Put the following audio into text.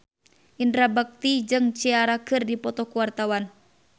Indra Bekti jeung Ciara keur dipoto ku wartawan